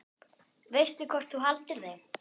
Veistu hvort þú haldir þeim?